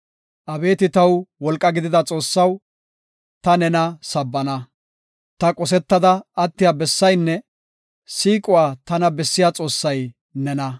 Abeeti taw wolqa gidida Xoossaw, ta nena sabbana. Ta qosetada attiya bessaynne siiquwa tana bessiya Xoossay nena.